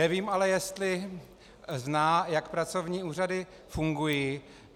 Nevím ale jestli zná, jak pracovní úřady fungují.